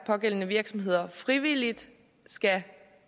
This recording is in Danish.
pågældende virksomheder frivilligt skal